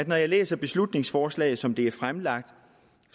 jeg læser beslutningsforslaget som det er fremlagt